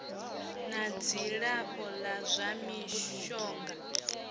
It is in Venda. na dzilafho la zwa mishonga